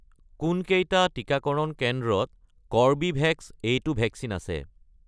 কোনকেইটা টিকাকৰণ কেন্দ্ৰত কৰ্বীভেক্স , এইটো ভেকচিন আছে?